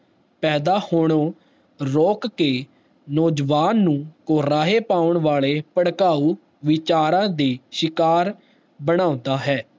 ਪੈਦਾ ਹੋਣੋਂ ਰੋਕ ਕੇ ਨੋ ਜਵਾਨ ਨੂੰ ਕੋਰਾਹੇ ਪੌਣ ਵਾਲੇ ਭੜਕਾਊ ਵਿਚਾਰਾਂ ਦੇ ਸ਼ਿਕਾਰ ਬਣਾਉਦਾ ਹੈ